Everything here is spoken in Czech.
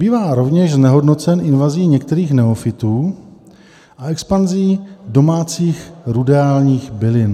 Bývá rovněž znehodnocen invazí některých neofytů a expanzí domácích ruderálních bylin.